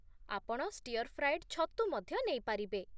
ଆପଣ stir fried ଛତୁ ମଧ୍ୟ ନେଇ ପାରିବେ।